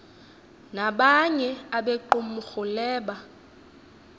nabanye abequmrhu leba